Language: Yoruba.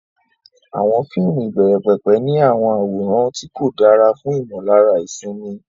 Àwọn fíìmù ìbẹ̀rẹ̀pẹ̀pẹ̀ ní àwọn àwòrán tí kò dára fún ìmọ̀lára ìsinmi.